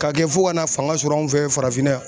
K'a kɛ fo ka na fanga sɔrɔ anw fɛ ye farafinna yan.